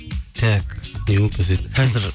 так не болды десе қазір